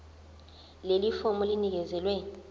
leli fomu linikezelwe